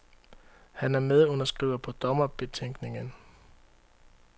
Han er medunderskriver på dommerbetænkningen.